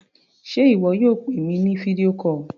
Sé ìwọ yóò pè mi ní fídíò call?